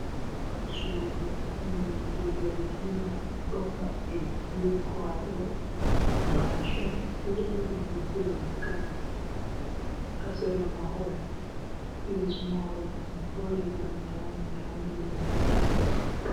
Dammugal sudu nonde zargina do mabbi be kwaɗo. Mashin do dari ha dubbe leggal ha sera mahol, les mahol man ɗo wadi bana nyami nyami lope.